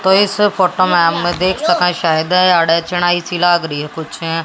तो इस फोटो में हम देख सके शायद --